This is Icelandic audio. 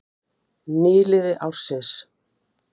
heiðlóan er einn þeirra farfugla sem dvelja hvað lengst hér á landi